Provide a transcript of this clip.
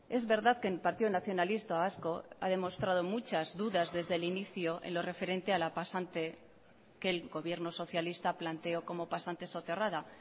es verdad que el partido nacionalista vasco ha demostrado muchas dudas desde el inicio en lo referente a la pasante que el gobierno socialista planteó como pasante soterrada